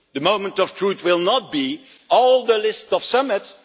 The moment of truth will not be the whole list of summits